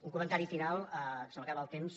un comentari final se m’acaba el temps